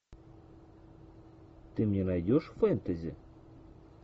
ты мне найдешь фэнтези